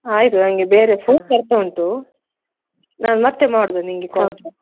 ಆಯ್ತು ನನ್ಗೆ ಬೇರೆ phone ಬರ್ತಾ ಉಂಟು ನಾನ್ ಮತ್ತೆ ಮಾಡುದ ನಿನ್ಗೆ call .